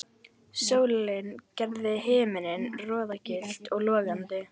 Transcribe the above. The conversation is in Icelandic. Sólin gerði himininn roðagylltan og logandi.